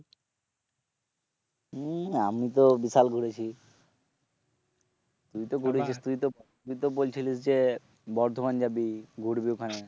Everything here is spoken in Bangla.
হম আমি তো বিশাল ঘুরেছি তুই তো বলছিলিস যে বর্ধমান যাবি, ঘুরবি ওখানে